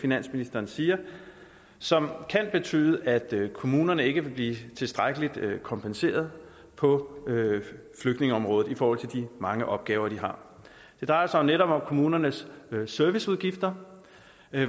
finansministeren siger som kan betyde at kommunerne ikke vil blive tilstrækkeligt kompenseret på flygtningeområdet i forhold til de mange opgaver de har det drejer sig netop om kommunernes serviceudgifter